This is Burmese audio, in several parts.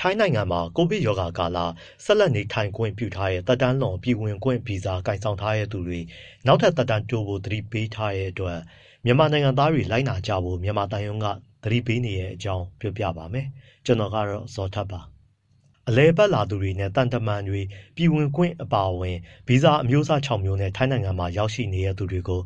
ထိုင်းနိုင်ငံမှာ ကိုဗစ်ကပ်ရောဂါကာလ ဆက်လက်နေထိုင်ခွင့်ပြုထားတဲ့ သက်တမ်းလွန် ပြည်ဝင်ခွင့်ဗီဇာ ကိုင်ဆောင်ထားသူတွေ နောက်ထပ် သက်တမ်းတိုးဖို့ သတိပေးထားတဲ့အတွက် မြန်မာနိုင်ငံသားတွေ လိုက်နာကြဖို့ မြန်မာသံရုံးက သတိပေးနေတဲ့အကြောင်းကို ဗွီအိုအေမြန်မာပိုင်းသတင်းထောက် ကိုဇော်ထက်က ပြောပြပေးပါမယ်။ အလည်အပတ်လာသူတွေနဲ့ သံတမန်တွေ ပြည်ဝင်ခွင့် အပါအဝင် ဗီဇာ အမျိုးအစား ခြောက် မျိုးနဲ့ ထိုင်းနိုင်ငံမှာ ရောက်ရှိနေသူတွေကို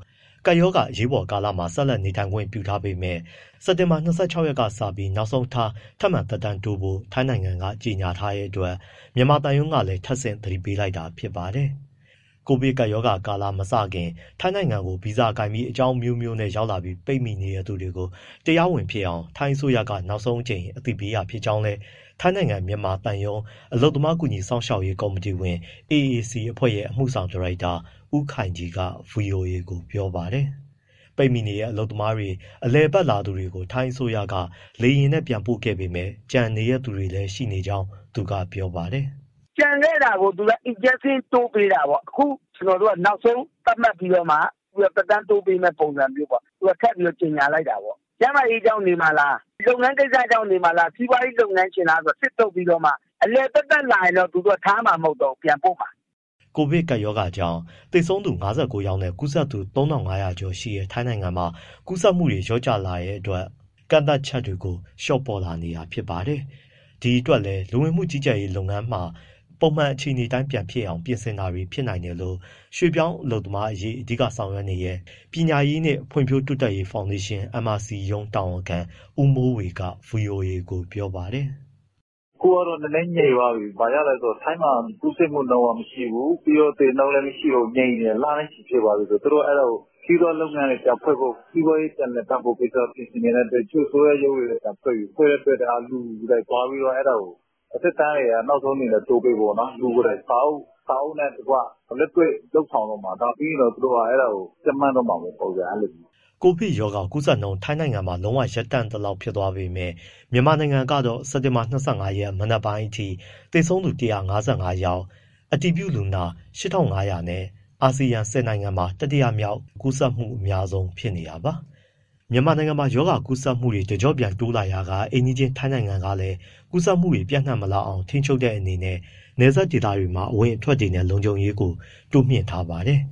ကပ်ရောဂါ အရေးပေါ်ကာလမှာ ဆက်လက် နေထိုင်ခွင့်ပြုထားပေမဲ့ စက်တင်ဘာ ၂၆ ရက်နေ့ နောက်ဆုံးထားပြီး ထပ်မံသက်တမ်းတိုးဖို့ ထိုင်းနိုင်ငံက ကြေညာထားတဲ့အတွက် မြန်မာသံရုံးကလည်း ထပ်ဆင့် သတိပေးလိုက်တာဖြစ်ပါတယ်။ ကိုဗစ်ကပ်ရောဂါမစခင် ထိုင်းနိုင်ငံကို ဗီဇာကိုင်ပြီး အကြောင်းအမျိုးမျိုးနဲ့ရောက်လာပြီး ပိတ်မိနေတဲ့သူတွေကို တရားဝင်ဖြစ်အောင် ထိုင်းအစိုးရက နောက်ဆုံးအကြိမ် အသိပေးတာဖြစ်ကြောင်းလည်း ထိုင်းနိုင်ငံ မြန်မာသံရုံး အလုပ်သမားကူညီစောင့်ရှောက်ရေး ကော်မတီဝင် AAC အဖွဲ့ရဲ့ အမှုဆောင်ဒါရိုက်တာ ဦးခိုင်ကြီးက ဗွီအိုအေကို ပြောပါတယ်။ ပိတ်မိနေတဲ့ အလုပ်သမားတွေနဲ့ အလည်အပတ်လာသူတွေကို ထိုင်းအစိုးရက လေယာဉ်နဲ့ ပြန်ပို့ခဲ့ပေမဲ့ ကျန်နေတဲ့သူတွေလည်း ရှိနေကြောင်း သူကပြောပါတယ်။ “ကျန်ခဲ့တာကို သူက (ထိုင်းအစိုးရက) extension သက်တမ်း ထပ်တိုးပေးတာပေါ့။ အခုနောက်ဆုံး သတ်မှတ်ပြီးတော့မှ သက်တမ်းတိုးပေးမယ့် ပုံစံမျိုးပေါ့၊ သူတို့က ထပ်ပြီး ကြေညာလိုက်တာပေါ့။ ကျန်းမာရေးကြောင့်နေမှာလား၊ လုပ်ငန်းကိစ္စကြောင့်နေမှာလား၊ စီးပွားရေး လုပ်ငန်းရှင်လားဆိုတာ စစ်ထုတ်ပြီးတော့မှ အလည်သက်သက် လာရင်တော့ သူတို့က ထားမှာမဟုတ်တော့ဘူး၊ ပြန်ပို့မှာ။” ကိုဗစ်ကပ်ရောဂါကြောင့် သေဆုံးသူ ၅၉ ယောက်နဲ့ ကူးစက်သူ ၃,၅၀၀ ကျော်ရှိတဲ့ ထိုင်းနိုင်ငံမှာ ကူးစက်မှုတွေ လျော့ကျလာတဲ့အတွက် ကန့်သတ်ချက်တွေကို လျှော့ပေါ့လာနေတာပါ။ ဒီအတွက်လည်း လူဝင်မှုကြီးကြပ်ရေး လုပ်ငန်းတွေမှာပါ ပုံမှန်အခြေအနေအတိုင်း ဖြစ်လာအောင် ပြင်ဆင်တာ ဖြစ်နိုင်တယ်လို့ ရွှေ့ပြောင်းလုပ်သားအရေး အဓိကလုပ်ဆောင်တဲ့ ပညာရေးနှင့် ဖွံ့ဖြိုးတိုးတက်ရေး ဖောင်ဒေးရှင်း MRC ရုံးတာဝန်ခံ ဦးမိုးဝေက ဗွီအိုအေကို ပြောပါတယ်။ “အခုကတော့ နည်းနည်းငြိမ်သွားပြီ။ ဘာဖြစ်လို့လဲဆိုတော့ ထိုင်းမှာ ကူးစက်မှုနှုန်းက မရှိဘူး၊ ပြီးတော့ သေနှုန်းလည်း ငြိမ်နေတယ်၊ လနဲ့ချီ ဖြစ်သွားပြီဆိုတော့ သူတို့ကအဲဒါကို စီးပွားရေးလုပ်ငန်းတွေ ပြန်ဖွင့်ဖို့ စီးပွားရေး ပြန်လည်ပတ်ဖို့ကိစ္စ ပြင်ဆင်နေတဲ့အတွက် တချို့ အစိုးရရုံးတွေ ပြန်ဖွင့်ပြီ၊ ပြန်ဖွင့်တဲ့အတွက် လူတွေဘာတွေသွားပြီး အဲဒါကို သက်တမ်းကို နောက်ဆုံးအနေနဲ့ တိုးပေးဖို့ပေါ့နော် လူကိုယ်တိုင် စာအုပ်နဲ့တကွ၊ လက်တွေ့ လုပ်ဆောင်တော့မှာ။ ဒါပြီးရင်တော့ သူတို့က အဲဒါကို ကြပ်မတ်တော့မှာပေါ့။” ကိုဗစ်ရောဂါကူးစက်နှုန်း ထိုင်းဘက်မှာ လုံးဝရပ်တန့်သလောက်ဖြစ်သွားပေမဲ့ မြန်မာနိုင်ငံကတော့ စက်တင်ဘာ ၂၅ ရက် မနက်ပိုင်းအထိ သေဆုံးသူ ၁၅၅ ယောက်၊ အတည်ပြုလူနာ အယောက် ၈,၅၀၀ နဲ့ အာဆီယံ ၁၀နိုင်ငံမှာ တတိယမြောက် ကူးစက်မှု အများဆုံးဖြစ်နေတာပါ။ မြန်မာနိုင်ငံမှာ ရောဂါကူးစက်မှုတွေ တကျော့ပြန်တိုးလာရာက အိမ်နီးချင်းထိုင်းနိုင်ငံကလည်း ကူးစက်မှုတွေ ပျံ့နှံ့မလာအောင် ထိန်းချုပ်တဲ့ အနေနဲ့ နယ်စပ်ဒေသတွေမှာ အဝင်အထွက်တွေနဲ့ လုံခြုံရေးတွေကိုလည်း တိုးမြှင့်ထားပါတယ်။